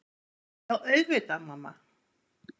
Já auðvitað mamma.